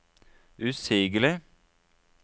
usigelig